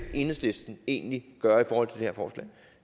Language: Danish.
enhedslisten egentlig gøre i forhold her forslag